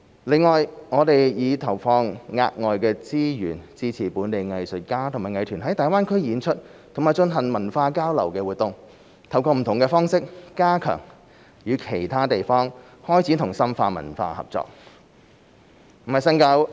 另外，我們已投放額外資源支持本地藝術家和藝團在大灣區演出及進行文化交流活動，透過不同方式加強與其他地方開展和深化文化合作。